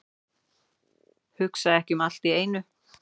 Hugsa ekki um allt í einu.